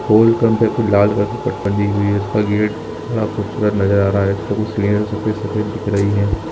पोल कम पे कुछ लाल कलर का पट्टा उसका गेट थोड़ा खूबसूरत नजर आ रहा है इसपे कुछ सीढ़िया है जो सफेद सफेद दिख रही है।